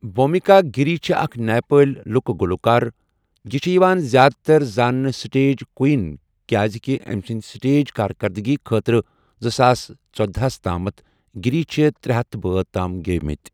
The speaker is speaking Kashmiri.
بھوٗمِکا گِری چھےٚ اَکھ نیپٲلی لُکہٕ گلوٗکار یہِ چھےٚ یوان زیٛادٕ تر زانٔنہٕ سٹیج کوئن کیازِ کہِ أمی سٕنٛدی سٹیج کارکردگی خٲطرٕ زٕساس ژۄدہَ ہَس تامتھ، گِری چھُ ترے ہتھَ بٲتھ تام گیۄیمٕتی.